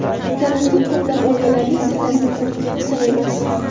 Karantin ko‘plab oilalarning sillasini quritgani sir emas.